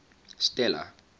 stella